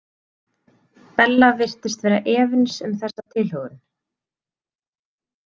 Bella virtist vera efins um þessa tilhögun.